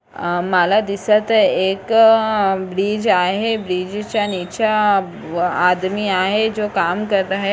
माला दिसत आहे एक ब्रिज आहे ब्रीजाच्या च्या निचा व आदमी आहे जो काम करता है.